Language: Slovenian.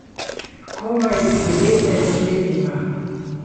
Komaj devetnajst let ima.